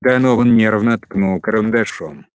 донован нервно ткнул карандашом